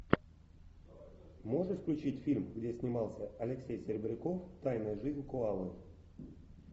можешь включить фильм где снимался алексей серебряков тайная жизнь коалы